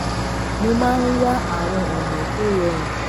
mo máa ń wá àwọn ònà tó rọrùn